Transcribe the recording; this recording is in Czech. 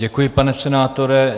Děkuji, pane senátore.